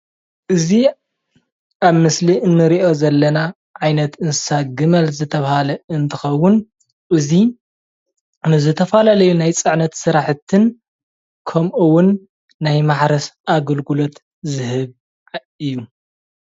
እዚ ኣብ ምስሊ እንሪኦ ዘለና ዓይነት እንስሳ ግመል ዝተባሃለ እንትከውን እዚ ንዝተፈላለዩ ናይ ፅዕነት ስራሕትን ከምኡ እውን ናይ ማሕረስ ኣገልግሎት ዝህብ እዩ፡፡